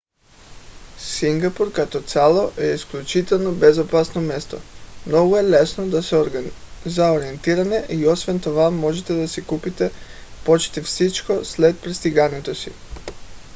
сингапур като цяло е изключително безопасно място. много е лесно за ориентиране и освен това можете да си купите почти всичко след пристигането си